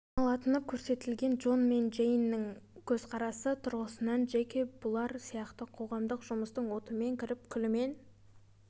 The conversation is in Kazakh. саналатыны көрсетілген джон мен джейннің көзқарасы тұрғысынан джеки бұлар сияқты қоғамдық жұмыстың отымен кіріп күлімен